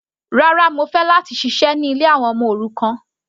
Rárá, mo fẹ́ láti ṣiṣẹ́ ní ilé àwọn ọmọ òrukàn.